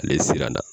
Ale siran na